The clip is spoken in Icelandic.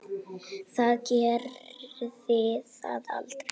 Það gerði það aldrei.